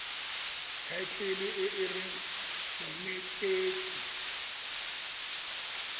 thaetlele e e reng monetetshi